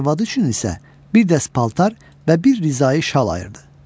Arvadı üçün isə bir dəst paltar və bir Rizayi şal ayırdı.